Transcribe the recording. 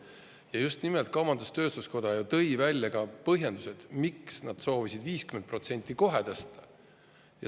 Ja just nimelt kaubandus-tööstuskoda tõi ka põhjendused, miks nad soovisid 50% kohe tõsta.